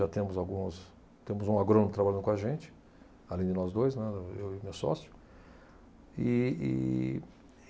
Já temos alguns, temos um agrônomo trabalhando com a gente, além de nós dois, né, eu e meu sócio. E, e